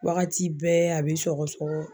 Wagati bɛɛ a be sɔgɔ sɔgɔ